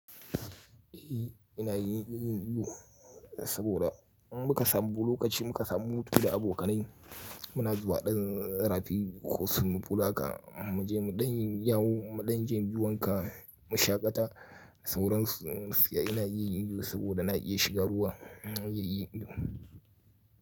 Eh ina yin yin saboda in muka samu lokaci muka samu hutu da abokanai muna zuwa ɗan rafi ko swimming pool haka mu je mu ɗan yawo mu ɗan je mu yi wanka mu shaƙata sauran su ina yin iyo saboda na iya shiga ruwa ina yin iyo biyu.